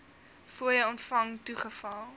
fooie ontvang toegeval